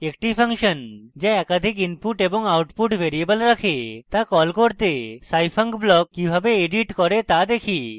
একটি ফাংশন যা একাধিক input এবং output ভ্যারিয়েবল রাখে তা call করতে scifunc block কিভাবে edit করে তা দেখি